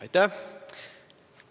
Aitäh!